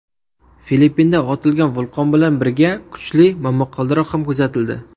Filippinda otilgan vulqon bilan birga kuchli momaqaldiroq ham kuzatildi.